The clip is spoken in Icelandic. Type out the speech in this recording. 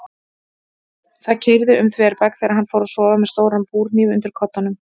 Það keyrði um þverbak þegar hann fór að sofa með stóran búrhníf undir koddanum.